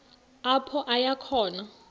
apho aya khona